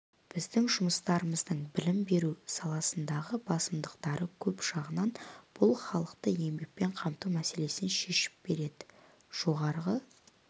біздің жұмыстарымыздың білім беру саласындағы басымдықтары көп жағынан бұл халықты еңбекпен қамту мәселесін шешіп береді жоғары